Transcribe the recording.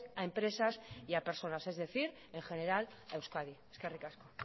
a empresas y a personas es decir en general a euskadi eskerrik asko